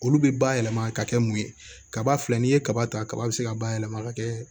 Olu bɛ ba yɛlɛma ka kɛ mun ye kaba filɛ n'i ye kaba ta kaba bɛ se ka bayɛlɛma ka kɛ